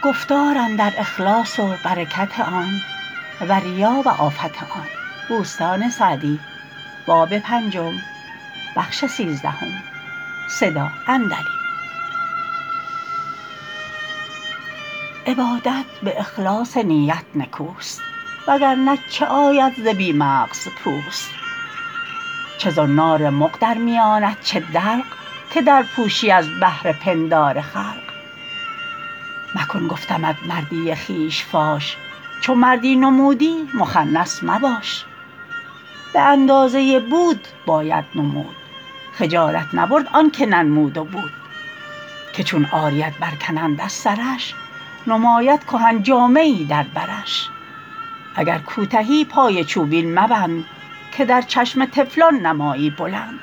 عبادت به اخلاص نیت نکوست وگر نه چه آید ز بی مغز پوست چه زنار مغ در میانت چه دلق که در پوشی از بهر پندار خلق مکن گفتمت مردی خویش فاش چو مردی نمودی مخنث مباش به اندازه بود باید نمود خجالت نبرد آن که ننمود و بود که چون عاریت بر کنند از سرش نماید کهن جامه ای در برش اگر کوتهی پای چوبین مبند که در چشم طفلان نمایی بلند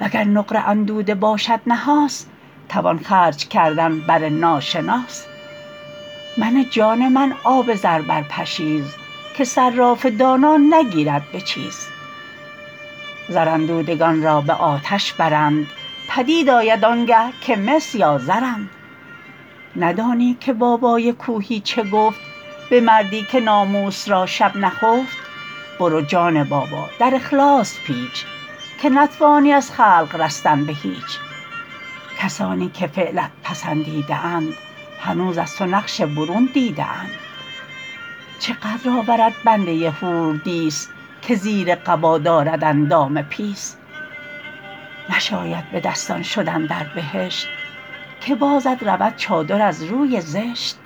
وگر نقره اندوده باشد نحاس توان خرج کردن بر ناشناس منه جان من آب زر بر پشیز که صراف دانا نگیرد به چیز زر اندودگان را به آتش برند پدید آید آنگه که مس یا زرند ندانی که بابای کوهی چه گفت به مردی که ناموس را شب نخفت برو جان بابا در اخلاص پیچ که نتوانی از خلق رستن به هیچ کسانی که فعلت پسندیده اند هنوز از تو نقش برون دیده اند چه قدر آورد بنده حوردیس که زیر قبا دارد اندام پیس نشاید به دستان شدن در بهشت که بازت رود چادر از روی زشت